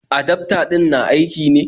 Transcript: Adafta din na aiki ne?